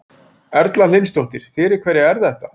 Erla Hlynsdóttir: Fyrir hverja er þetta?